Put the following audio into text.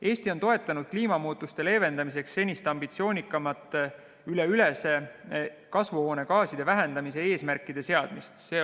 Eesti on toetanud kliimamuutuste leevendamiseks senisest ambitsioonikamate kasvuhoonegaaside vähendamise eesmärkide seadmist.